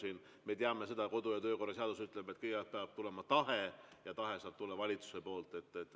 Me teame seda, Riigikogu kodu‑ ja töökorra seadus ütleb, et kõigepealt peab tulema tahe, ja tahe saab tulla valitsuselt.